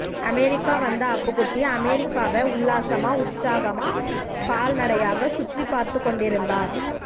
America வந்த அப்புக்குட்டி அமெரிக்காவ உல்லாசமா உற்சாகமா கால் நடையாக சுற்றிப்பார்த்துக்கொண்டிருந்தார்